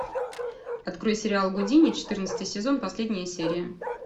открой сериал гудини четырнадцатый сезон последняя серия